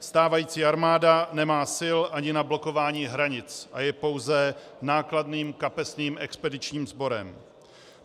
Stávající armáda nemá sil ani na blokování hranic a je pouze nákladným kapesním expedičním sborem.